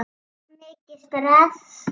Of mikið stress?